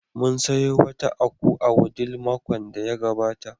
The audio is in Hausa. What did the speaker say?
Mun sayo wata aku a Wudil makon da ya gabata.